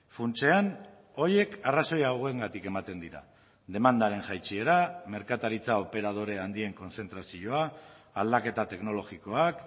funtsean horiek arrazoia hauengatik ematen dira demandaren jaitsiera merkataritza operadore handien kontzentrazioa aldaketa teknologikoak